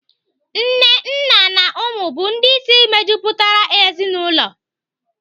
Nne, nna na ụmụ bụ ndị isi mejupụtara ezinaụlọ.